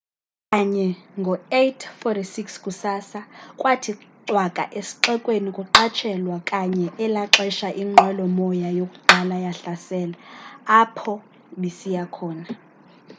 kanye ngo 8:46 kusasa kwathi cwaka esxekweni kuqatshelwa kanye elaxesha inqwelo moya yokuqala yahlasela apho bisiya khona